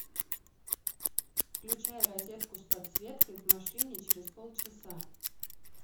включай розетку с подсветкой в машине через полчаса